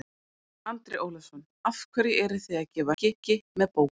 Andri Ólafsson: Af hverju eruð þið að gefa hryggi með bókum?